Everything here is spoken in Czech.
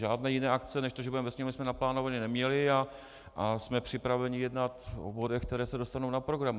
Žádné jiné akce než to, že budeme ve Sněmovně, jsme naplánovány neměli a jsme připraveni jednat o bodech, které se dostanou na program.